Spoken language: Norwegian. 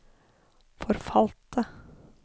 forfalte